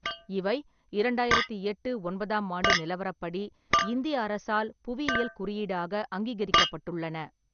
இவை இரண்டாயிரத்தி எட்டு ஒன்பதாம் ஆண்டு நிலவரப்படி இந்திய அரசால் புவியியல் குறியீடாக அங்கீகரிக்கப்பட்டுள்ளன.